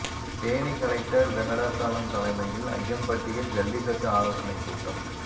Theni collector Venkatachalam தலைமையில் அய்யம்பட்டியில் ஜல்லிக்கட்டு ஆலோசனைக் கூட்டம்